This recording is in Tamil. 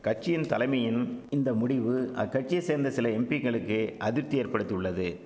கட்சியின் தலைமையின் இந்த முடிவு அக்கட்சிய சேர்ந்த சில எம்பிங்களுக்கு அதிப்தி ஏற்படுத்தியுள்ளது